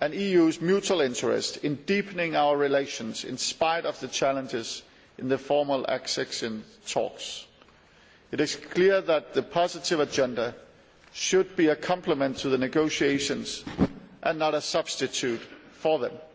and the EU's mutual interest in deepening our relations, in spite of the challenges encountered in the formal accession talks. It is clear that the positive agenda should be a complement to the negotiations and not a substitute for them.